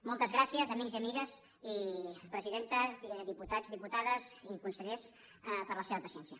moltes gràcies amics i amigues i presidenta dipu·tats diputades i consellers per la seva paciència